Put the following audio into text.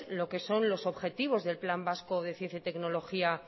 lo que son los objetivos del plan vasco de ciencia y tecnología